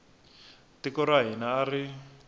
tiko ra hina a ri